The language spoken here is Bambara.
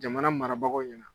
Jamana marabagaw ɲɛna.